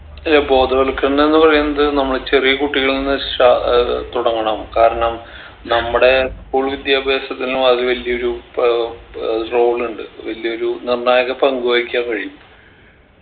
അല്ല ബോധവത്കരണം എന്ന് പറയുന്നത് നമ്മള് ചെറിയ കുട്ടികളിൽന്ന് ഷാ ഏർ തുടങ്ങണം കാരണം നമ്മടെ school വിദ്യാഭ്യാസത്തിനും അത് വലിയൊരു പ ഏർ role ഇണ്ട് വലിയൊരു നിര്‍ണായക പങ്ക് വഹിക്കാൻ കഴിയും